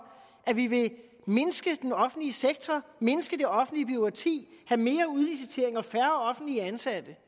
at vi vil mindske den offentlige sektor mindske det offentlige bureaukrati have mere udlicitering og færre offentligt ansatte